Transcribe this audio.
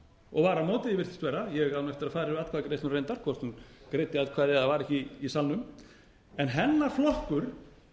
að fara yfir atkvæðagreiðsluna reyndar hvort hún greiddi atkvæði eða var ekki í salnum en hennar flokkur